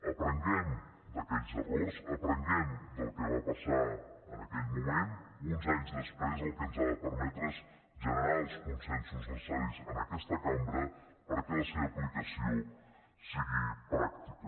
aprenguem d’aquells errors aprenguem del que va passar en aquell moment uns anys després el que ens ha de permetre és generar els consensos necessaris en aquesta cambra perquè la seva aplicació sigui pràctica